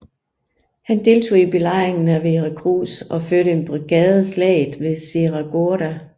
Han deltog i belejringen af Veracruz og førte en brigade slaget ved Cerro Gordo